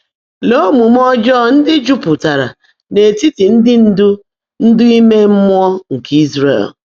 Leè ómuumé ọ́jọ́ọ́ ndị́ jụ́pụtáárá n’ítítị́ ndị́ ndụ́ ndụ́ íme mmụọ́ nkè Ị́zràẹ̀l!